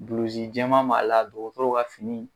Bulusi jɛma b'a la dɔgɔtɔrɔw ka fini.